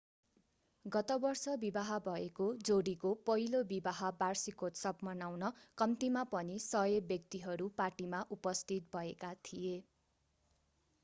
गत वर्ष विवाह भएको जोडीको पहिलो विवाह वार्षिकोत्सव मनाउन कम्तीमा पनि 100 व्यक्तिहरू पार्टीमा उपस्थित भएका थिए